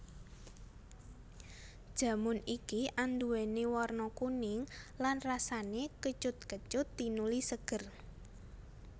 Jamun iki anduwèni warna kuning lan rasané kecut kecut tinuli seger